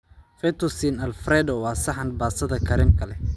Fettuccine Alfredo waa saxan baastada kareemka leh.